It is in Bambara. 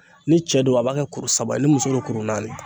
Ni cɛ don , a b'a kɛ kuru saba ye, ni muso don, kuru naani